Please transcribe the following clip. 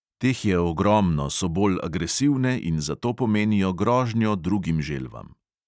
Teh je ogromno, so bolj agresivne in zato pomenijo grožnjo drugim želvam.